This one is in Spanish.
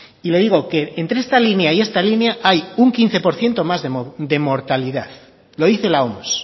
y le digo que entre esta línea y esta línea hay un quince por ciento más de mortalidad lo dice la oms